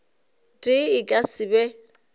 tee e ka se be